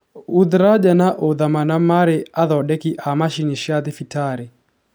Uthraja na Uthama maarĩ athondeki a macini cia thibitarĩ.